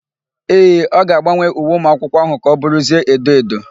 Ee, ọ ga-agbanwe uwe ụmụakwụkwọ áhụ̀ ka ọ bụrụzie edo edo.